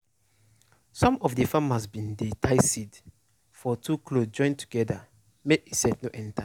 some of de farmers bin tie seed for two cloth join together make insect no enter.